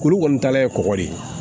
Kuru kɔni tala ye kɔgɔ de ye